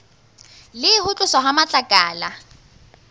le ho tloswa ha matlakala